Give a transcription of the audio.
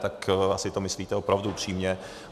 Tak asi to myslíte opravdu upřímně.